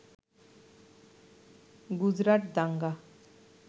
গুজরাট দাঙ্গা